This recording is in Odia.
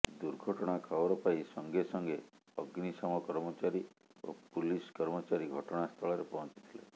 ଦୁର୍ଘଟଣା ଖବର ପାଇ ସଙ୍ଗେ ସଙ୍ଗେ ଅଗ୍ନିଶମ କର୍ମଚାରୀ ଓ ପୁଲିସ୍ କର୍ମଚାରୀ ଘଟଣାସ୍ଥଳରେ ପହଞ୍ଚିଥିଲେ